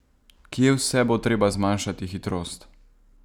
Kje vse bo treba zmanjšati hitrost?